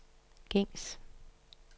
gængs